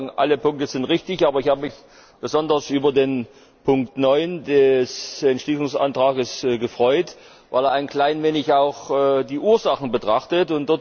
Ich muss sagen, alle Punkte sind richtig. Aber ich habe mich besonders über Ziffer 9 des Entschließungsantrages gefreut, weil sie ein klein wenig auch die Ursachen betrachtet.